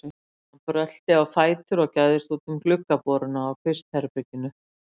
Hann brölti á fætur og gægðist út um gluggaboruna á kvistherberginu.